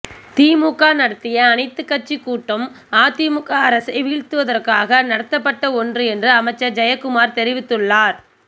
திமுக நடத்திய அனைத்து கட்சி கூட்டம் அதிமுக அரசை வீழ்த்துவதற்காக நடத்தப்பட்ட ஒன்று என்று அமைச்சர் ஜெயக்குமார் தெரிவித்துள்ளார்